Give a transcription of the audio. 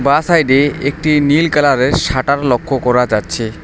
বাঁ সাইডে একটি নীল কালারের শাটার লক্ষ্য করা যাচ্ছে।